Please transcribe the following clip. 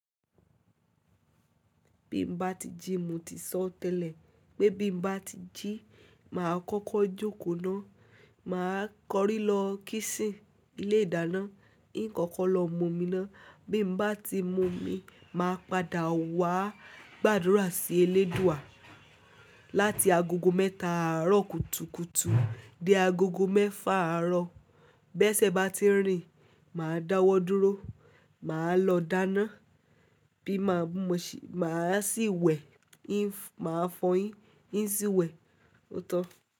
Bí mo bá ti jí, mo ti sọ tẹ́lẹ̀ pé bí mo bá ti jí, máa kọ́kọ́ jókòó ná. Máa kọrí lọ kíṣín ilé ìdáná, ín kọ́kọ́ lọ mú omi ná. Bí mo bá ti mu omi, màá padà wá gbàdúrà sí eléèdúà láti agogo mẹ́ta àárọ̀ kùtùkùtù dé agogo mẹ́fa àárọ̀. Bẹ́ṣẹ bá ti rìn, màá dáwọ́ dúró, màá lọ dáná, bí mo bá mu, màá sì wẹ̀, màá fọyín, yín sì wẹ̀. Óòtọ́.